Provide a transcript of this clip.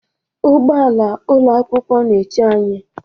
Ụgbọ ala ụlọ akwụkwọ na-eche anyị.